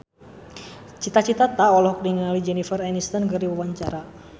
Cita Citata olohok ningali Jennifer Aniston keur diwawancara